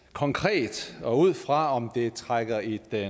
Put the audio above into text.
konkret og ud fra om det trækker i den